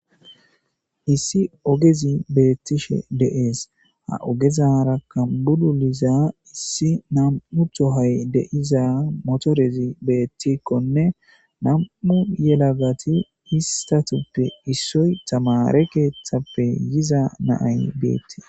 Issi ogezi beettishe deees ha ogezara kambulu liza issi nam7utho hay deiza motorezi beettikkonne nam7u yelagati istatuppe issoy tamare keeththappe yiza naay beetti